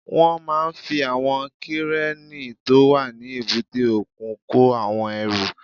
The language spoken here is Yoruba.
Wọ́n máa fi àwọn kírénì tó wà ní èbúté òkun kó àwọn ẹrù